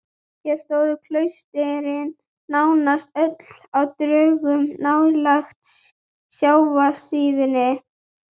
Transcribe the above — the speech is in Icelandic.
Hér stóðu klaustrin nánast öll á dröngum nálægt sjávarsíðunni